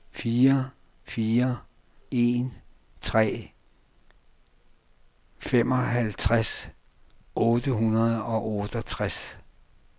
fire fire en tre femoghalvtreds otte hundrede og otteogtres